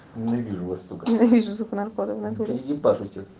ненавижу